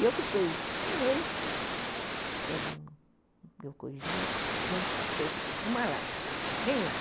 E eu fiquei um mês, pelas minhas coisinhas, não sou uma lágrima, nenhuma.